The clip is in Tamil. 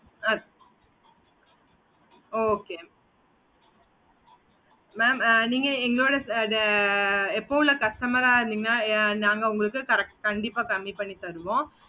okay mam ஆஹ் நீங்க எங்களோட account ல customer ஆஹ் நாங்க உங்களுக்கு இருந்திங்கனா கண்டிப்பா கம்மி பண்ணி தருவோ